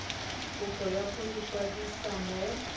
kopo ya go ikwadisa mo